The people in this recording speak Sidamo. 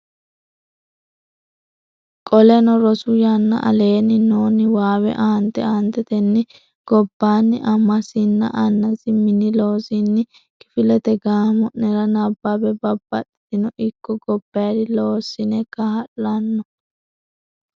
Qoleno rosu yanna Aleenni noo niwaawe aante aantetenni gobbaanni amasinna annasi mini losinni kifilete gaamo nera nabbabbe Babbaxxino ikko gobbayidi loosinni kaa lanno.